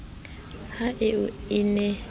ha eo a ne a